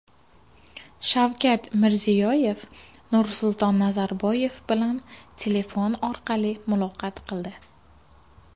Shavkat Mirziyoyev Nursulton Nazarboyev bilan telefon orqali muloqot qildi.